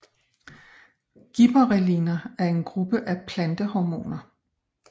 Gibberrelliner er en gruppe af plantehormoner